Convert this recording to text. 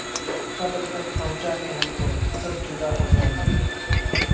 قبر تک پہنچا کے ہم کو سب جدا ہو جائیں گے